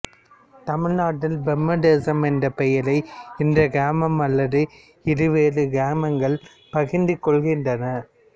தமிழ்நாட்டில் பிரம்மதேசம் என்ற பெயரை இந்த கிராமம் அல்லது இரு வேறு கிராமங்கள் பகிர்ந்து கொள்கின்றன